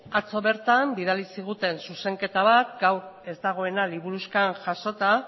atzo bertan bidali ziguten zuzenketa bat gaur ez dagoela liburuxkan jasota